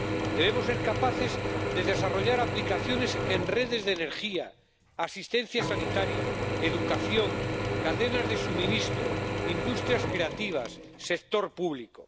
Debemos ser capaces de desarrollar aplicaciones en redes de energía, asistencia sanitaria, educación, cadenas de suministro, industrias creativas, sector público.